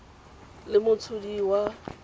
le motshodi wa tumelelo ya